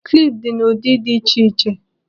Kilp dị n'ụdị dị iche iche.